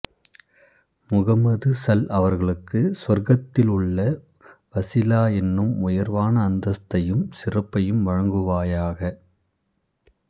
முஹம்மது ஸல் அவர்களுக்கு சுவர்க்கத்தில் உள்ள வஸீலா எனும் உயர்வான அந்தஸ்த்தையும் சிறப்பையும் வழங்குவாயாக